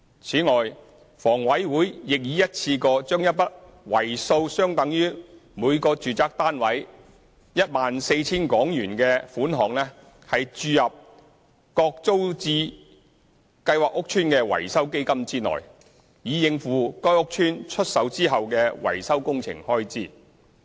此外，房委會亦已一次過將一筆數額相等於每個住宅單位 14,000 元的款項注入各租置計劃屋邨的維修基金內，以應付該屋邨出售後的維修工程開支。